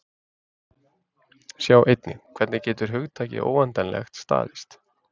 Sjá einnig: Hvernig getur hugtakið óendanlegt staðist?